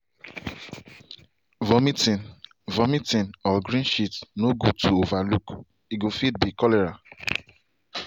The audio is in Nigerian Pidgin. vomiting vomiting or green shit no good to over look- e go fit be cholera.